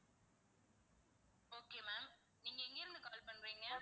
okay ma'am நீங்க எங்க இருந்து call பண்றீங்க?